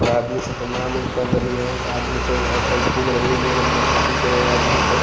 और आदमी सब प्रणाम कर रही है आदमी सब अ सब घूम रही है ओने-एने अपना-अपना ठीक करे है आदमी सब।